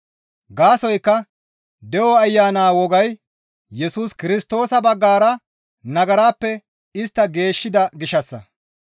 Gaasoykka de7o Ayana wogay Yesus Kirstoosa baggara nagarappe istta geeshshida gishshassa.